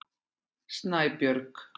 Snæbjörg